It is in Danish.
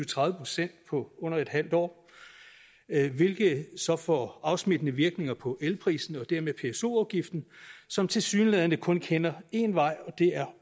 tredive procent på under et halvt år hvilket så får afsmittende virkning på elpriserne og dermed pso afgiften som tilsyneladende kun kender én vej og det er